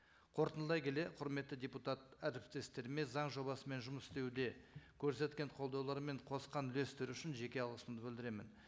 қорытындылай келе құрметті депутат әріптестеріме заң жобасымен жұмыс істеуге көрсеткен қолдаулары мен қосқан үлестері үшін жеке алғысымды білдіремін